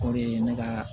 O de ye ne ka